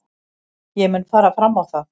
Ég mun fara fram á það.